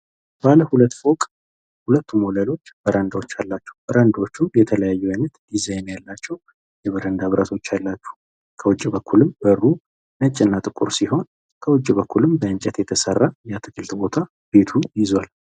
ባለ ሁለት ፎቅ ሁለቱም በረንዳ አላቸው። በረንዳዎች የተለያየ አይነት ዲዛይን አላቸው ።የበረንዳ ብርቶች አላቸው። ከውጭ በኩልም በሩ ነጭና ጥቁር ሲሆን ከውጭ በኩልም በእንጨት የተሰሩ የአትክልት ስፍራ ይዟል።